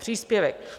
Příspěvek!